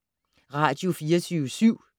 Radio24syv